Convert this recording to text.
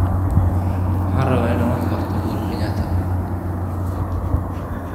waxaan rabaa inaan wax ka barto uhuru kenyatta